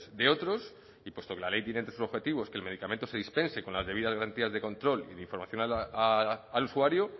de otros y puesto que la ley tiene entre sus objetivos que el medicamento se dispense con las debidas garantías de control y de información al usuario